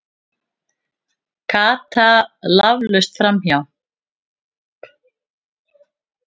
Kasta laflaust framhjá.